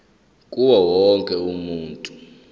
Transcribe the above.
kuwo wonke umuntu